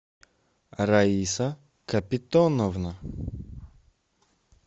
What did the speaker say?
раиса капитоновна